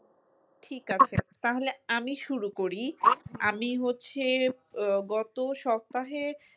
ঠিক আছে তাহলে আমি শুরু করি আমি হচ্ছে আহ গত সপ্তাহে